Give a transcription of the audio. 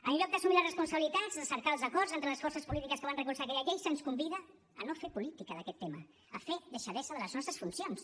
en lloc d’assumir les responsabilitats de cercar els acords entre les forces polítiques que van recolzar aquella llei se’ns convida a no fer política d’aquest tema a fer deixadesa de les nostres funcions